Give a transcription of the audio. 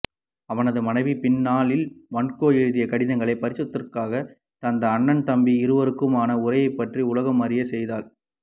அவனது மனைவி பின்னாளில் வான்கோ எழுதிய கடிதங்களை பிரசுரத்திற்காக தந்து அண்ணன் தம்பி இருவருக்குமான உறவை பற்றி உலகம்அறிய செய்தாள்